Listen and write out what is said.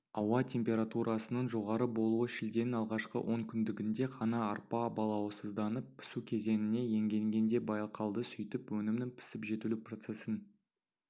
ауа температурасының жоғары болуы шілденің алғашқы онкүндігінде ғана арпа балауызданып пісу кезеңіне енгенде байқалды сүйтіп өнімнің пісіп-жетілу процесін